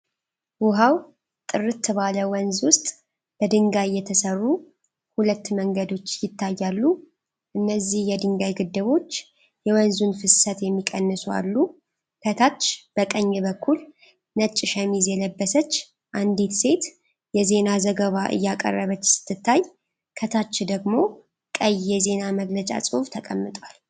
ውሃው ጥርት ባለ ወንዝ ውስጥ በድንጋይ የተሠሩ ሁለት መንገዶች ይታያሉ። እነዚህ የድንጋይ ግድቦች የወንዙን ፍሰት የሚቀንሱ አሉ። ከታች በቀኝ በኩል፣ ነጭ ሸሚዝ የለበሰች አንዲት ሴት የዜና ዘገባ እያቀረበች ስትታይ፤ ከታች ደግሞ ቀይ የዜና መግለጫ ጽሑፍ ተቀምጧል።